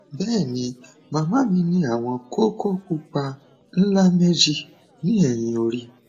bẹẹ ni màmá mi ní àwọn kókó pupa ńlá méjì ní ẹyìn orí